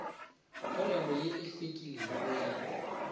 polelo ye e hlwekilego ya